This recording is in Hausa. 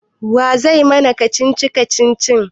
Wa zai mana kacici-kacici kacici?